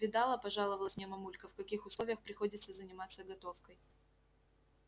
видала пожаловалась мне мамулька в каких условиях приходится заниматься готовкой